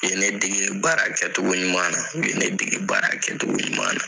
U ye ne dege baara kɛcogo ɲuman na u ye ne dege baara kɛcogo ɲuman .